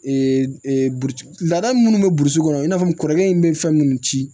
laada minnu bɛ burusi kɔnɔ i n'a fɔ n kɔrɔkɛ in bɛ fɛn minnu ci